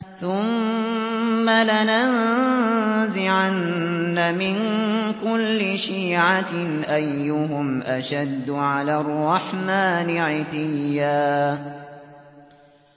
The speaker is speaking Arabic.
ثُمَّ لَنَنزِعَنَّ مِن كُلِّ شِيعَةٍ أَيُّهُمْ أَشَدُّ عَلَى الرَّحْمَٰنِ عِتِيًّا